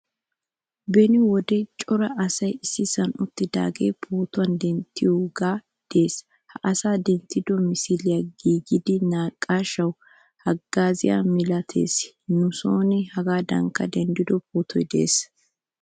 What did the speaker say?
Beni wode cora asaay issisan uttidaaga pootuwaa denttoge de'ees. Ha asaa denttido misile gididi naaqaashshawu haggaazziyaa milaatees. Nu sooni hegadankka denddido pootoy de'ees.